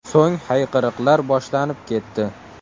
So‘ng hayqiriqlar boshlanib ketdi.